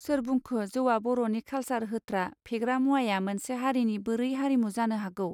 सोर बुंखो जौवा बर'नि कालसार होत्रा फेग्रा मुवाया मोनसे हारिनि बोरै हारिमु जानो हागौ.